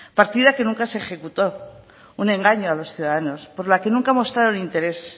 partida que nunca se ejecutó un engaño a los ciudadanos por la que nunca mostraron interés